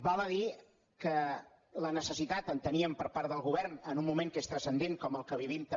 val a dir que la necessitat enteníem per part del govern en un moment que és transcendent com el que vivim també